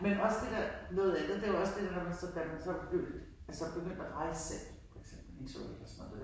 Men også det der, noget andet det jo også det når man så da man blev lidt altså begyndte at rejse selv for eksempel interrail i toget